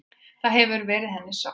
Það hefur verið henni sárt.